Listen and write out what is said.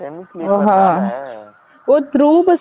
oh through bus ல போனிங்கலா?